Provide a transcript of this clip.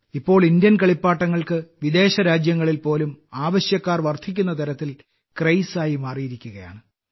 ഇപ്പോൾ ഇന്ത്യൻ കളിപ്പാട്ടങ്ങൾക്ക് വിദേശ രാജ്യങ്ങളിൽ പോലും ആവശ്യക്കാർ വർദ്ധിക്കുന്ന തരത്തിൽ ക്രേസായി മാറിയിരിക്കുകയാണ്